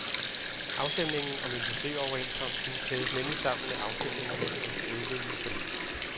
Afstemningen om industrioverenskomsten kædes nemlig sammen med afstemningerne om de øvrige forlig.